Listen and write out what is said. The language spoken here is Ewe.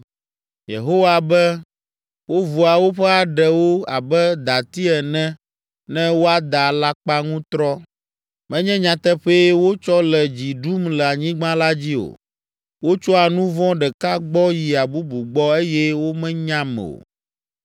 Yehowa be, “Wovua woƒe aɖewo abe dati ene ne woada alakpaŋutrɔ. Menye nyateƒee wotsɔ le dzi ɖum le anyigba la dzi o. Wotsoa nu vɔ̃ ɖeka gbɔ yia bubu gbɔ eye womenyam o.